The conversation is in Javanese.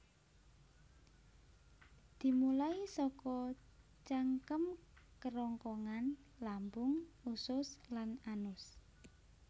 Dimulai saka cangkem kerongkongan lambung usus lan anus